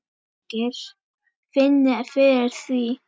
Margir finni fyrir því.